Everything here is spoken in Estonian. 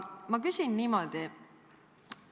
Ma küsin niimoodi.